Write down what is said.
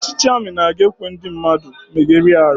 Ọchịchị ami anaghị ekwe ndị mmadụ megharia ahu